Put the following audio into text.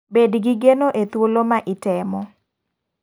Bed gi geno e thuol ma itemo.